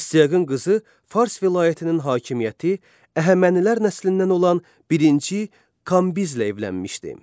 Astiaqın qızı Fars vilayətinin hakimiyyəti, Əhəmənilər nəslindən olan birinci Kambizlə evlənmişdi.